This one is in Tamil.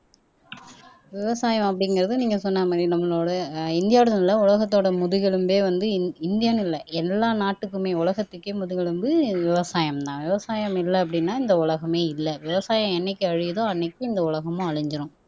விவசாயம் அப்படிங்கறது நீங்க சொன்ன மாதிரி நம்மளோட அஹ் இந்தியாவிலுள்ள உலகத்தோட முதுகெலும்பே வந்து இந் இந்தியான்னு இல்லை எல்லா நாட்டுக்குமே உலகத்துக்கே முதுகெலும்பு விவசாயம்தான் விவசாயம் இல்லை அப்படின்னா இந்த உலகமே இல்லை விவசாயம் என்னைக்கு அழியுதோ அன்னைக்கு இந்த உலகமும் அழிஞ்சிரும்